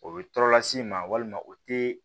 O bɛ tɔɔrɔ las'i ma walima o tɛ